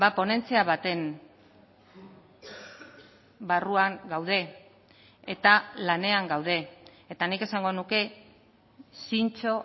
ponentzia baten barruan gaude eta lanean gaude eta nik esango nuke zintzo